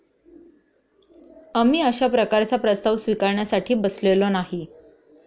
आम्ही अशा प्रकारचा प्रस्ताव स्विकारण्यासाठी बसलेलो नाही.